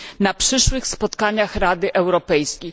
na przyszłych spotkaniach Rady Europejskiej.